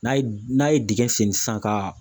N'a ye n'a ye dingɛ sen sisan ka